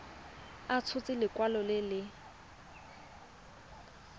a tshotse lekwalo le le